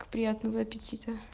приятного аппетита